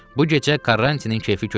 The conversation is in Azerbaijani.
Bu gecə Karrantinin keyfi kök idi.